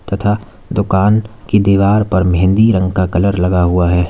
तथा दुकान की दीवार पर मेहंदी रंग का कलर लगा हुआ है।